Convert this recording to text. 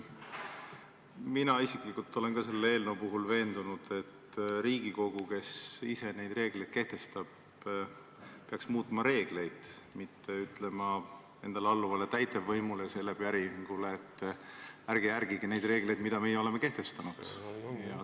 Mina isiklikult olen ka selle eelnõu puhul veendunud, et Riigikogu, kes ise neid reegleid kehtestab, peaks muutma reegleid, mitte ütlema endale alluvale täitevvõimule selle päringu peale, et ärge järgige neid reegleid, mis me oleme kehtestanud.